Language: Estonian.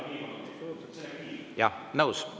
Jah, nõus.